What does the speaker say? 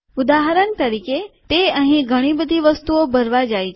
ઉદાહરણ તરીકે તે અહી ઘણી બધી વસ્તુઓ ભરવા જાય છે